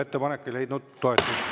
Ettepanek ei leidnud toetust.